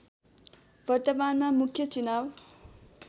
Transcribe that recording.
वर्तमानमा मुख्य चुनाव